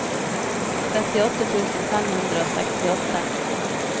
trettiåtte tusen fem hundre og sekstiåtte